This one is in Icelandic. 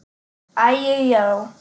Æi, já.